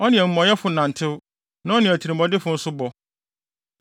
Ɔne amumɔyɛfo nantew; na ɔne atirimɔdenfo nso bɔ.